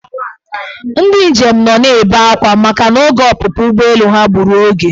Ndị njem nọ na-ebe akwa makana oge ọpụpụ ụgbọelu ha gburu oge.